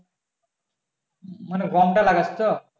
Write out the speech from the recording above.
মানে গমটা লাগাস তো